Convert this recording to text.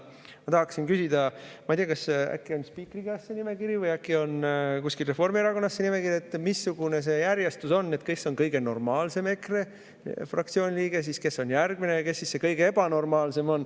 Ma tahaksin küsida, sest ma ei tea, et kas äkki on spiikri käes või kuskil Reformierakonnas see nimekiri, missugune see järjestus on, kes on kõige normaalsem EKRE fraktsiooni liige, kes on järgmine ja kes siis see kõige ebanormaalsem on.